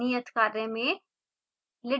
नियत कार्य में